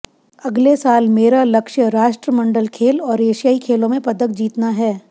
अगले साल मेरा लक्ष्य राष्ट्रमंडल खेल और एशियाई खेलों में पदक जीतना है